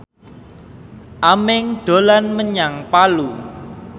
Aming dolan menyang Palu